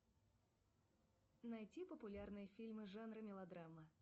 поставь телевизионный канал триста шестьдесят пять дней